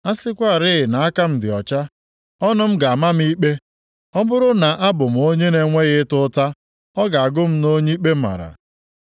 A sịkwarị na aka m dị ọcha, ọnụ m ga-ama m ikpe; ọ bụrụ na abụ m onye na-enweghị ịta ụta, ọ ga-agụ m nʼonye ikpe mara.